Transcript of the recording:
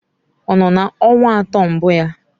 Ọ nọ na ọnwa atọ mbụ ya?